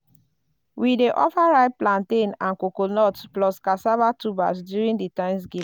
we dey offer ripe plantain and coconut plus cassava tubers during di thanksgiving.